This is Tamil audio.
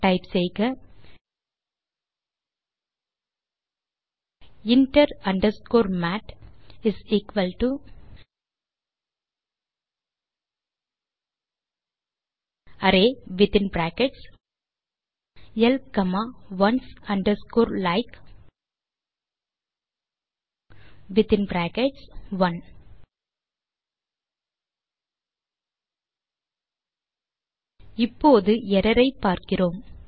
டைப் செய்க inter underscore mat array within brackets L comma ones underscore like within brackets one பின் குளோஸ் பிராக்கெட் இப்போது எர்ரர் ஐ பார்க்கிறோம்